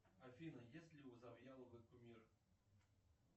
афина есть ли у завьяловой кумир